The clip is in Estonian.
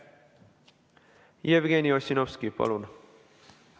Jevgeni Ossinovski, palun!